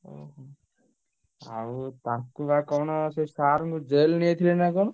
ଓହୋ, ଆଉ ତାଙ୍କୁ ବା କଣ ସେ sir ଙ୍କୁ jail ନେଇ ଯାଇଥିଲେ ନାଁ କଣ?